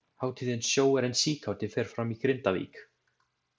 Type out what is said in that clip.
Hátíðin Sjóarinn síkáti fer fram í Grindavík.